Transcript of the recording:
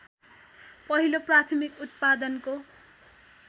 पहिलो प्राथमिक उत्पादनको